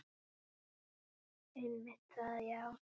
Einmitt það já.